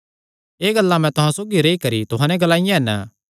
एह़ गल्लां मैं तुहां सौगी रेई करी तुहां नैं ग्लाईयां हन